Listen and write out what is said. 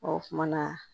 Ɔ kumana